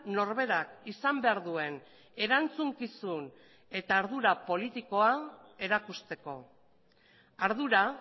norberak izan behar duen erantzukizun eta ardura politikoa erakusteko ardura